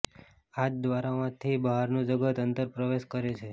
આ જ દ્વારોમાંથી બહારનું જગત અંદર પ્રવેશ કરે છે